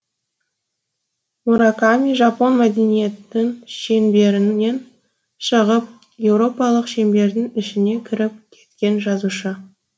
мураками жапон мәдениетін шеңберінен шығып еуропалық шеңбердің ішіне кіріп кеткен жазушы